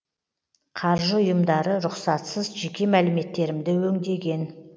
қаржы ұйымдары рұқсатсыз жеке мәліметтерімді өңдеген